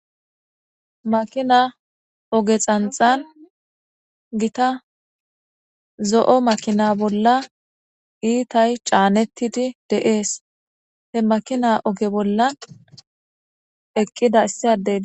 Maakina ooge xanxan giitta zo'o maakina bolla iittay caanettidi de'ees he maakina ooge bollan eqqida issaddey de'es